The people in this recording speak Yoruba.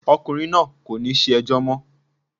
Ọkùnrin náà kò ní ṣẹjọ́ mọ́.